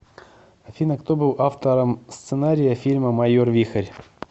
афина кто был автором сценария фильма майор вихрь